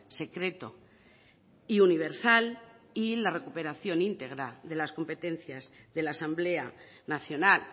secreto y universal y la recuperación íntegra de las competencias de la asamblea nacional